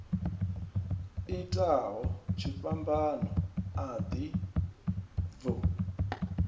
itaho tshifhambano a ḓi bvu